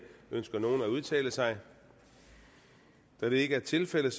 ønsker nogen at udtale sig da det ikke er tilfældet